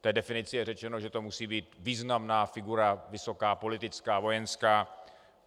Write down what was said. V té definici je řečeno, že to musí být významná figura, vysoká politická, vojenská.